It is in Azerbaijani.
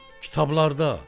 Kitablarda.